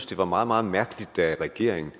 det var meget meget mærkeligt da regeringen